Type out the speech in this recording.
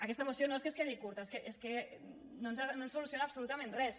aquesta moció no és que es quedi curta és que no ens soluciona absolutament res